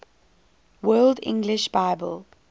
world english bible